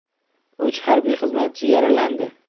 Uch harbiy xizmatchi yaralandi.